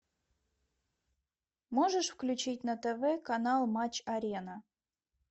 можешь включить на тв канал матч арена